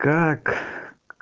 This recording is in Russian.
как